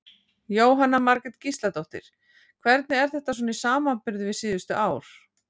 Jóhanna Margrét Gísladóttir: Hvernig er þetta svona í samanburði við síðustu ár?